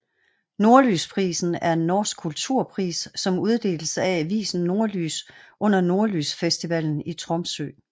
Nordlysprisen er en norsk kulturpris som uddeles af avisen Nordlys under Nordlysfestivalen i Tromsø